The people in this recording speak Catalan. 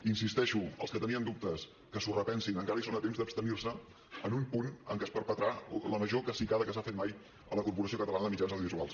hi insisteixo els que tenien dubtes que s’hi repensin encara són a temps d’abstenir se en un punt en què es perpetrà la major cacicada que s’ha fet mai a la corporació catalana de mitjans audiovisuals